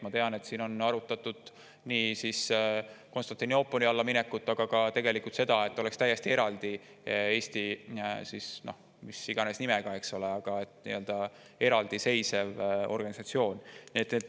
Ma tean, et siin on arutatud Konstantinoopoli alla minekut, aga ka seda, et Eestis oleks täiesti eraldi, mis iganes nimega, eks ole, aga nii-öelda eraldiseisev organisatsioon.